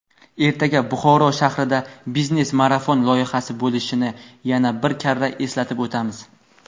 ertaga Buxoro shahrida "Biznes marafon" loyihasi bo‘lishini yana bir karra eslatib o‘tamiz.